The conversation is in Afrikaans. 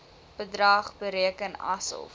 bedrag bereken asof